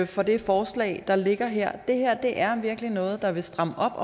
for det forslag der ligger her det her er virkelig noget der vil stramme op